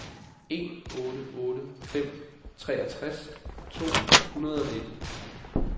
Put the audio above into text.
en otte otte fem treogtres to hundrede og nitten